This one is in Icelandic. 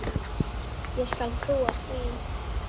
Ég skal trúa því.